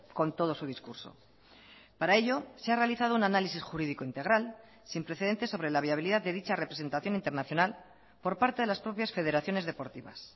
con todo su discurso para ello se ha realizado un análisis jurídico integral sin precedentes sobre la viabilidad de dicha representación internacional por parte de las propias federaciones deportivas